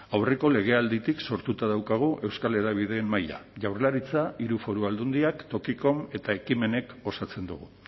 aurreko legealditik sortuta daukagu euskal hedabideen mahaia jaurlaritza hiru foru aldundiak tokiko eta ekimenek osatzen dugu